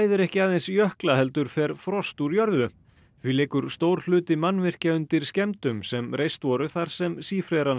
ekki aðeins jökla heldur fer frost úr jörðu því liggur stór hluti mannvirkja sem reist voru þar sem